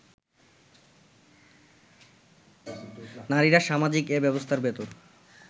নারীরা সামাজিক এ ব্যবস্থার ভেতর